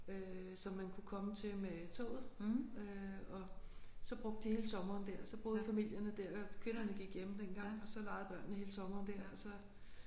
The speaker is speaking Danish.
Øh som man kunne komme til med toget øh og så brugte de hele sommeren der så boede familierne der og kvinderne gik hjemme dengang og så legede børnene hele sommeren der og så